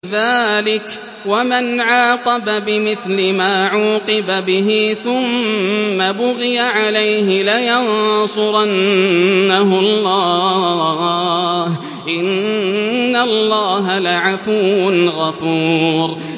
۞ ذَٰلِكَ وَمَنْ عَاقَبَ بِمِثْلِ مَا عُوقِبَ بِهِ ثُمَّ بُغِيَ عَلَيْهِ لَيَنصُرَنَّهُ اللَّهُ ۗ إِنَّ اللَّهَ لَعَفُوٌّ غَفُورٌ